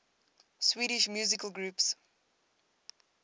swedish musical groups